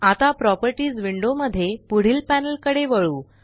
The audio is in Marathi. आता प्रॉपर्टीस विंडो मध्ये पुढील पॅनल कडे वळू